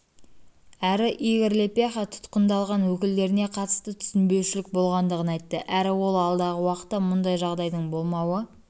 әрі игорь лепеха тұтқындалған өкілдеріне қатысты түсінбеушілік болғандығын айтты әрі ол алдағы уақытта мұндай жағдайдың болмауы